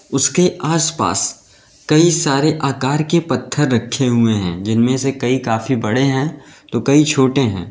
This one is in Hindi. उसके आसपास कई सारे आकार के पत्थर रखे हुए हैं जिनमें से कई काफी बड़े हैं तो कई छोटे हैं।